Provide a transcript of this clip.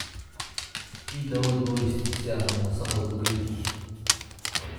I dabool boorishta si aan wasakhdu u gelin